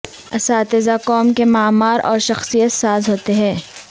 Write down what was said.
اساتذہ قوم کے معمار اور شخصیت ساز ہوتے ہیں